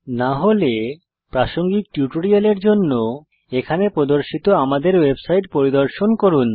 না হলে প্রাসঙ্গিক টিউটোরিয়ালের জন্য এখানে প্রদর্শিত আমাদের ওয়েবসাইট পরিদর্শন করুন